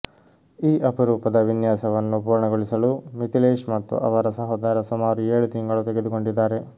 ಈ ಅಪರೂಪದ ವಿನ್ಯಾಸವನ್ನು ಪೂರ್ಣಗೊಳಿಸಲು ಮಿಥಿಲೇಶ್ ಮತ್ತು ಅವರ ಸಹೋದರ ಸುಮಾರು ಏಳು ತಿಂಗಳು ತೆಗೆದುಕೊಂಡಿದ್ದಾರೆ